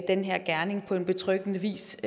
den her gerning på betryggende vis